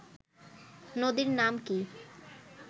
নদীর নাম কি